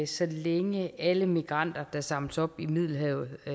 så længe alle migranter der samles op i middelhavet